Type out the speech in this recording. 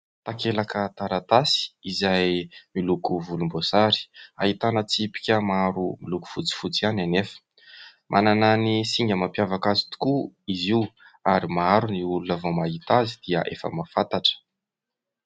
Takelaka taratasy izay miloko volom-boasary ahitana tsipika maro loko fotsifotsy ihany anefa. Manana ny singa mampiavaka azy tokoa izy io, ary maro ny olona vao mahita azy dia efa mahafantatra.